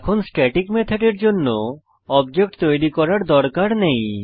এখন স্ট্যাটিক মেথডের জন্য অবজেক্ট তৈরী করার দরকার নেই